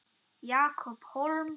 Jakob Hólm